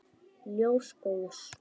Ljós góðs.